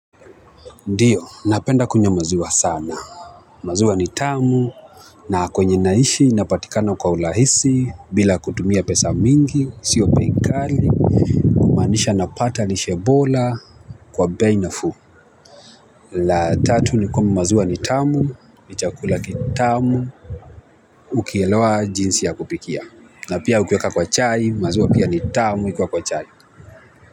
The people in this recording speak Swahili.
Ndiyo napenda kunyamaziwa sana maziwa ni tamu na kwenye naishi napatikana kwa urahisi bila kutumia pesa mingi sio bei kali kumaanisha napata lishe bora kwa bei nafuu la tatu ni kwamba maziwa ni tamu, ni chakula kitamu ukielewa jinsi ya kupikia na pia ukiweka kwa chai maziwa pia ni tamu ikiwa kwa chai.